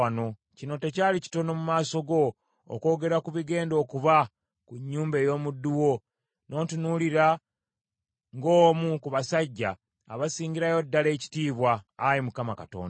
Kino tekyali kitono mu maaso go, okwogera ku bigenda okuba ku nnyumba ey’omuddu wo, n’ontunuulira ng’omu ku basajja abasingirayo ddala ekitiibwa, Ayi Mukama Katonda.